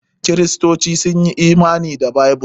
Kiristoci sun yi imani da Bible.